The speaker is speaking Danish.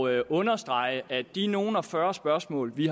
at understrege at ud af de nogle og fyrre spørgsmål vi